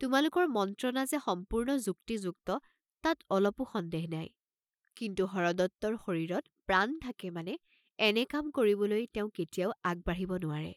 তোমালোকৰ মন্ত্ৰণা যে সম্পূৰ্ণ যুক্তিযুক্ত তাত অলপো সন্দেহ নাই, কিন্তু হৰদত্তৰ শৰীৰত প্ৰাণ থাকে মানে এনে কাম কৰিবলৈ তেওঁ কেতিয়াও আগ বাঢ়িব নোৱাৰে।